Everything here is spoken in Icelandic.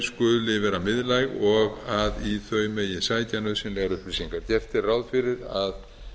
skuli vera miðlæg og í þau megi sækja nauðsynlegar upplýsingar gert er ráð fyrir að